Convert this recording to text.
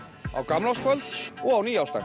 á gamlárskvöld og á nýársdag